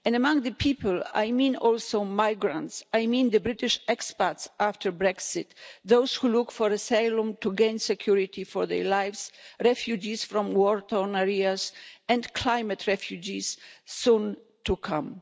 And among the people I mean also migrants I mean the British expats after Brexit, those who look for asylum to gain security for the lives, refugees from war torn areas, and climate refugees soon to come.